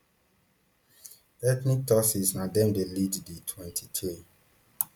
ethnic tutsis na dem dey lead di mtwenty-three